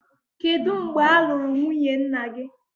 Kedu mgbe a lụrụ nwunye nna gị?